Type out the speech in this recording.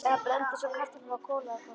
Eða brennd eins og kartafla á kolaglóðum.